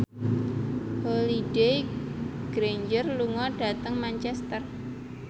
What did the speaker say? Holliday Grainger lunga dhateng Manchester